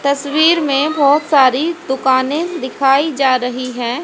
तस्वीर मे बहोत सारी दुकाने दिखाई जा रही है।